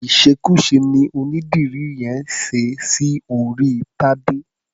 Ìṣekúṣe ni onídìrí yẹn ṣe sí orí Tadé.